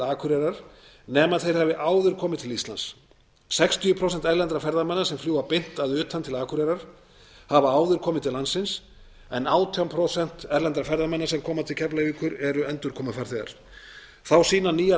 akureyrar nema þeir hafi áður komið til íslands sextíu prósent erlendra ferðamanna sem fljúga beint að utan til akureyrar hafa áður komið til landsins en átján prósent erlendra ferðamanna sem koma til keflavíkur eru endurkomufarþegar þá sýna nýjar